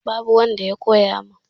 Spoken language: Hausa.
Babu wanda ya koya mun